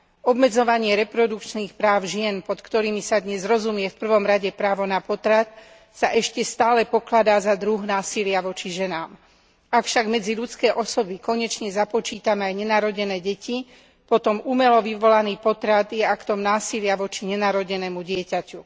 Obmedzovanie reprodukčných práv žien, pod ktorými sa dnes v prvom rade rozumie právo na potrat, sa ešte stále pokladá za druh násilia voči ženám. Ak však medzi ľudské osoby konečne započítame aj nenarodené deti, potom umelo vyvolaný potrat je aktom násilia voči nenarodenému dieťaťu.